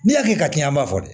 N'i hakili ka k'i ye an b'a fɔ